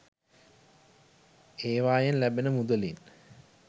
ඒවයෙන් ලැබෙන මුදලින්